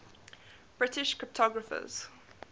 british cryptographers